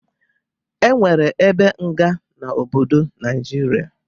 E nwere ebe nga n'obodo Naijiria